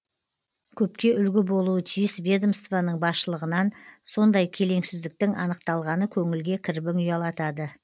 көпке үлгі болуы тиіс ведомствоның басшылығынан сондай келеңсіздіктің анықталғаны көңілге кірбің ұялатады